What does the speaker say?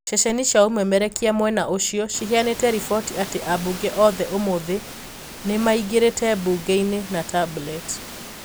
Ceceni cia ũmemerekia mwena ũcio ciheanite riboti ati abunge othe ũmũthĩ nimaingirite bunge-ini na Tablet.